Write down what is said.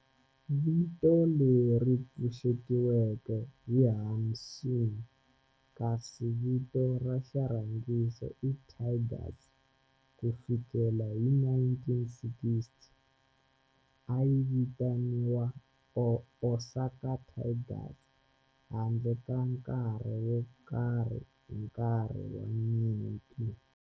Vito leri pfuxetiweke i Hanshin kasi vito ra xirhangiso i Tigers. Ku fikela hi 1960, a yi vitaniwa Osaka Tigers handle ka nkarhi wo karhi hi nkarhi wa nyimpi.